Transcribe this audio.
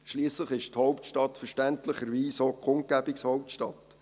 Schliesslich ist die Hauptstadt verständlicherweise auch Kundgebungshauptstadt.